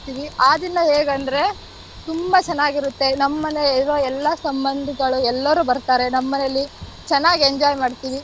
ಆ ದಿನ ಹೇಗಂದ್ರೆ ತುಂಬಾ ಚೆನ್ನಾಗಿರುತ್ತೆ ನಮ್ಮ್ ಮನೆ ಇರೋ ಎಲ್ಲಾ ಸಂಬಂಧಗಳು ಎಲ್ಲಾರೂ ಬರ್ತಾರೆ ನಮ್ಮ್ ಮನೇಲಿ ಚೆನ್ನಾಗ್ enjoy ಮಾಡ್ತೀವಿ.